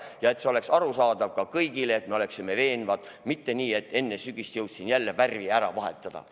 Teha nii, et see oleks arusaadav kõigile, et me oleksime veenvad, mitte nii, et enne sügist jõudsime jälle värvi ära vahetada.